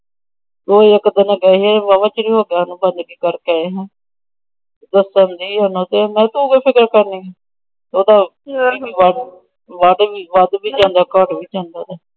ਉਹ ਇੱਕ ਦਿਨ ਗਏ ਸੀ। ਵਾਹਵਾ ਚਿਰ ਹੋ ਗਿਆ ਓਦੋ ਗੱਲ ਕਰਕੇ ਆਏ। ਦੱਸਣ ਰਹੀ ਸੀ ਓਹਨੂੰ